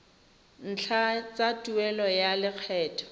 ntlha tsa tuelo ya lekgetho